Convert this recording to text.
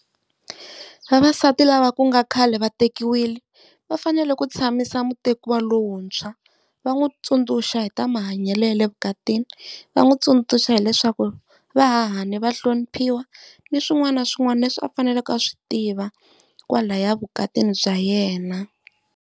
Vavasati lava ku nga khale va tekiwile va fanele ku tshamisa mutekiwa lowuntshwa, va n'wi tsundzuxa hi ta mahanyelo ya le evukatini. Va n'wi tsundzuxa hileswaku va hahani va hloniphiwa ni swin'wana na swin'wana leswi a faneleke a swi tiva kwalaya vukatini bya yena.